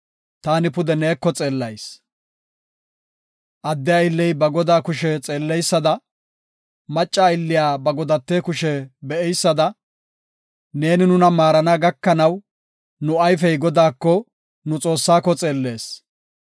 Adde aylley ba godaa kushe xeelleysada, macca aylliya ba godate kushe be7eysada, neeni nuna maarana gakanaw, nu ayfey Godaako, nu Xoossaako xeellees.